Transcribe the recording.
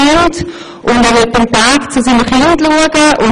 Für uns ist dies fast der wichtigste Grund.